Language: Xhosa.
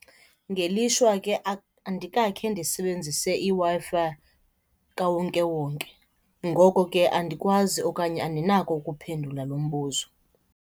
Ngelishwa ke andikakhe ndisebenzise iWi-Fi kawonkewonke. Ngoko ke andikwazi okanye andinako ukuphendula lo mbuzo.